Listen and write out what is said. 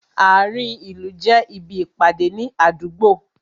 Ààrin ìlú jẹ́ ibi Ìpàdé ní àdúgbò